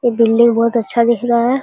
ये बिल्डिंग बहुत अच्छा दिख रहा है।